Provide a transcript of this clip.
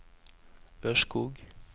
Ørskog